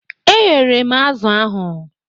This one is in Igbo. E ghere m azụ̀ ahụ.